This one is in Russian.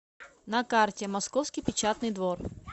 на карте московский печатный двор